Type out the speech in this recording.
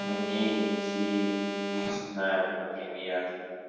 мне идти не знаю например